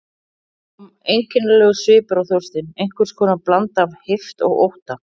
Það kom einkennilegur svipur á Þorstein, einhvers konar blanda af heift og ótta.